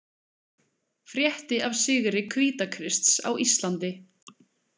Frétti af sigri Hvítakrists á Íslandi.